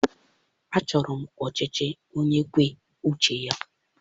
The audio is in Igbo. Achọrọ m ọchịchị onye kwue uche ya.